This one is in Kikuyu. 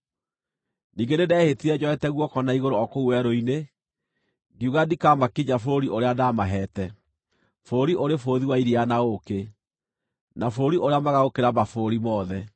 Ningĩ nĩndehĩtire njoete guoko na igũrũ o kũu werũ-inĩ, ngiuga ndikamakinyia bũrũri ũrĩa ndaamaheete, bũrũri ũrĩ bũthi wa iria na ũũkĩ, na bũrũri ũrĩa mwega gũkĩra mabũrũri mothe;